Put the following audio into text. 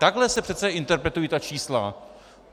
Takhle se přece interpretují ta čísla.